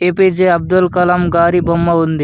APJ Abdul Kalam గారి బొమ్మ ఉంది.